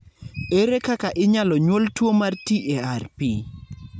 Ere kaka inyalo nyuol tuwo mar TARP?